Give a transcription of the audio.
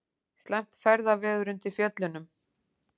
Slæmt ferðaveður undir Fjöllunum